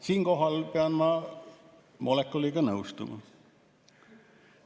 Siinkohal pean ma Molekuliga nõustuma.